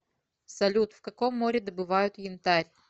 салют в каком море добывают янтарь